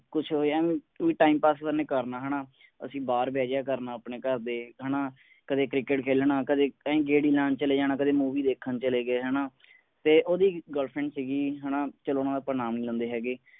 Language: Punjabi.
ਕੁਝ ਹੋਈਆ ਵੀ ਓਇ time pass ਕਰਨਾ ਹਣਾ। ਅਸੀਂ ਬਾਹਰ ਬਹਿ ਜਾਇਆ ਕਰਨਾ ਆਪਣੇ ਘਰ ਦੇ ਹੈ ਨਾ ਕਦਿ ਕ੍ਰਿਕਟ ਖੇਲਣਾ ਕਦੀ ਐਵੇਂ ਈ ਗੇੜੀ ਲਾਉਣ ਚਲੇ ਜਾਣਾ ਕਦੇ movie ਦੇਖਣ ਚਲੇ ਗਏ ਹੈ ਨਾ ਤੇ ਓਹਦੀ ਇਕ girlfriend ਸੀਗੀ ਹੈ ਨਾ ਚਲੋ ਹੁਣ ਆਪਾਂ ਨਾਮ ਨਹੀਂ ਲੈਂਦੇ ਹੈਗੇ।